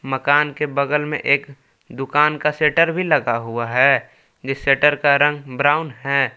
मकान के बगल में एक दुकान का शेटर भी लगा हुआ है इस शेटर का रंग ब्राउन है।